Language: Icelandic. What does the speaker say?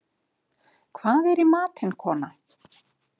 Hvað er í matinn, kona?